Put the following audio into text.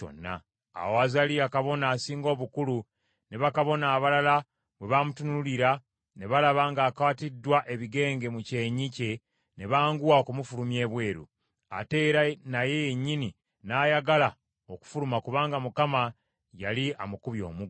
Awo Azaliya kabona asinga obukulu ne bakabona abalala bwe bamutunuulira, ne balaba ng’akwatiddwa ebigenge mu kyenyi kye ne banguwa okumufulumya ebweru. Ate era naye yennyini n’ayagala okufuluma kubanga Mukama yali amukubye omuggo.